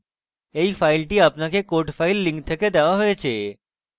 এই file আপনাকে codes file link থেকে দেওয়া হয়েছে